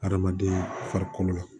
Hadamaden farikolo la